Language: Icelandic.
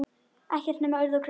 Ekkert nema urð og grjót.